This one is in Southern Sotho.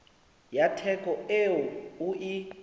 ya theko eo o e